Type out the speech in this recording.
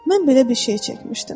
Mən belə bir şey çəkmişdim.